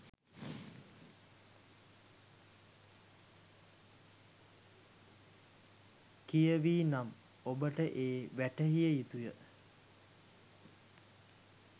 කියවී නම් ඔබට ඒ වැටහිය යුතුය.